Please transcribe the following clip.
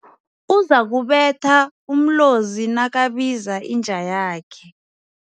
Uzakubetha umlozi nakabiza inja yakhe.